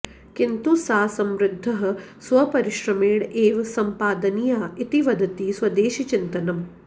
किन्तु सा समृद्धिः स्वपरिश्रमेण एव सम्पादनीया इति वदति स्वदेशीचिन्तनम्